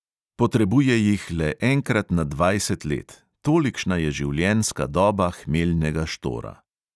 Potrebuje jih le enkrat na dvajset let, tolikšna je življenjska doba hmeljnega štora.